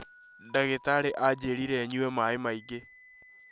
Ndagĩtarĩ anjĩĩrire nyue maaĩ maingĩ